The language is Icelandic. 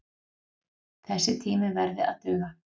Þessi tími verði að duga.